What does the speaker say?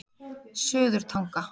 Suðurtanga